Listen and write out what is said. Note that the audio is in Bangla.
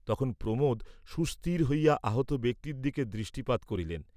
তখন প্রমোদ সুস্থির হইয়া আহত ব্যক্তির দিকে দৃষ্টিপাত করিলেন।